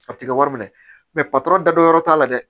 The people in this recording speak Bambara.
A ti kɛ wari minɛ patɔrɔn datɔ yɔrɔ t'a la dɛ